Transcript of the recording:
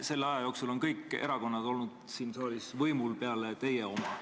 Selle aja jooksul on võimul olnud kõik erakonnad siin saalis peale teie oma.